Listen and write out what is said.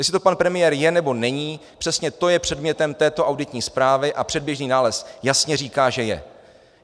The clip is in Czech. Jestli to pan premiér je nebo není, přesně to je předmětem této auditní zprávy a předběžný nález jasně říká, že je.